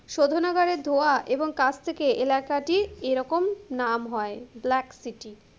শোধনাগারের ধোঁয়া এবং কাজ থেকে এলাকাটির এরকম নাম হয়, ব্ল্যাক সিটি,